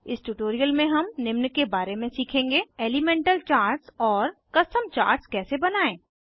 इस ट्यूटोरियल में हम निम्न के बारे में सीखेंगे एलीमेंटल चार्ट्स और कस्टम चार्ट्स कैसे बनायें